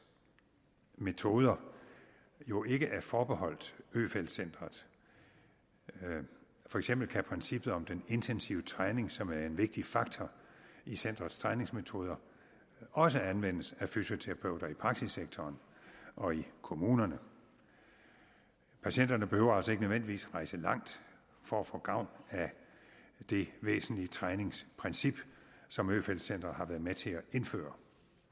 metoder jo ikke er forbeholdt øfeldt centret for eksempel kan princippet om den intensive træning som er en vigtig faktor i centerets træningsmetoder også anvendes af fysioterapeuter i praksissektoren og i kommunerne patienterne behøver altså ikke nødvendigvis at rejse langt for at få gavn af det væsentlige træningsprincip som øfeldt centret har været med til at indføre